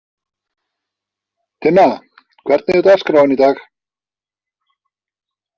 Tinna, hvernig er dagskráin í dag?